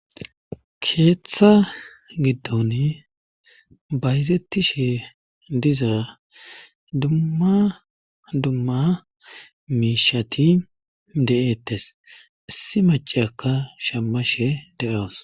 keeththa giddon bayzettishee diza dumma dumma miishati de'ettes issi maceyaka shammashe de'awus